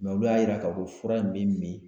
olu y'a yira k'a fɔ fura min bɛ min